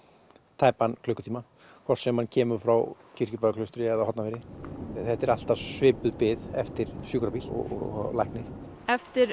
tæpan klukkutíma hvort sem hann kemur frá Kirkjubæjarklaustri eða Hornafirði þetta er alltaf svipuð bið eftir sjúkrabíl og lækni eftir